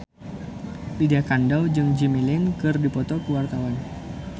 Lydia Kandou jeung Jimmy Lin keur dipoto ku wartawan